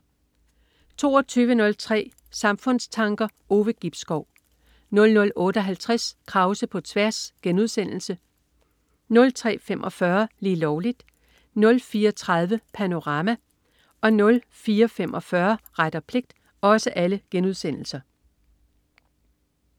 22.03 Samfundstanker. Ove Gibskov 00.58 Krause på tværs* 03.45 Lige Lovligt* 04.30 Panorama* 04.45 Ret og pligt*